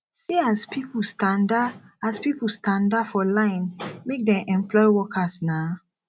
see as pipu standa as pipu standa for line make dem employ workers na